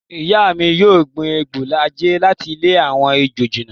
Ìyá mi yóò gbin igbó àjẹ́ láti lé àwọn ejò jìnnà.